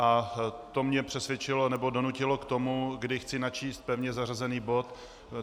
A to mě přesvědčilo, nebo donutilo k tomu, že chci načíst pevně zařazený bod.